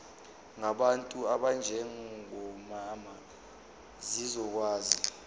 ngabantu abanjengomama zizokwazi